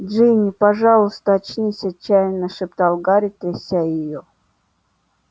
джинни пожалуйста очнись отчаянно шептал гарри тряся её